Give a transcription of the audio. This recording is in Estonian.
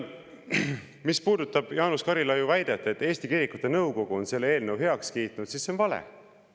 Mis puudutab Jaanus Karilaiu väidet, et Eesti Kirikute Nõukogu on selle eelnõu heaks kiitnud, siis see on vale.